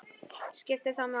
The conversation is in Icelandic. skiptir það máli?